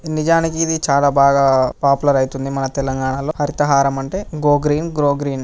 నిజానికి ఇది చాలా బాగా పాపులర్ అవుతుంది మన తెలంగాణ లో హరిత హారం అంటే గ్రో గ్రీన్ గ్రో గ్రీన్ .